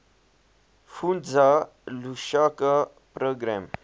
fundza lushaka program